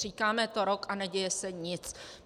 Říkáme to rok a neděje se nic.